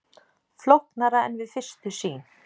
Flóknara en við fyrstu sýn